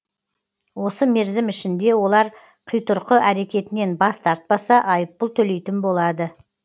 осы мерзім ішінде олар қитұрқы әрекетінен бас тартпаса айыппұл төлейтін болады